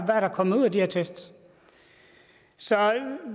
der er kommet ud af de her test så